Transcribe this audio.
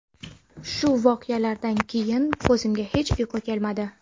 Shu voqealardan keyin ko‘zimga hech uyqu kelmadi.